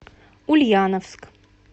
ульяновск